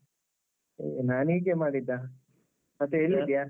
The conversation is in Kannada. ನಾನ್ ಹೀಗೆ ಮಾಡಿದ್ದ. ಮತ್ತೆ ಎಲ್ಲಿದ್ಯಾ?